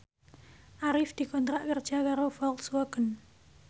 Arif dikontrak kerja karo Volkswagen